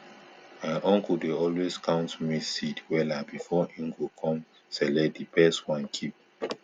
my uncle dey always count maize seed wella before e go com select di best one keep